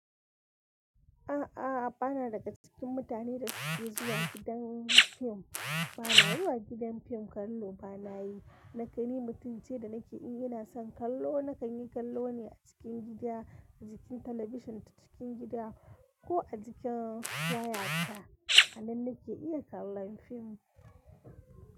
A'a, bana daga cikin mutane da suke zuwa gidan fim. Bana zuwa gidan fim kallo, banayi. Dake ni mutum ce da nake in, ina son kallo, na kanyi kallo ne a cikin gida, a cikin talabishin cikin gida ko a cikin waya ta. Anan nake iya kallon fim.